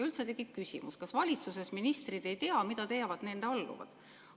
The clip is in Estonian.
Üldse tekib küsimus, kas valitsuses ministrid ei tea, mida teevad nende alluvad.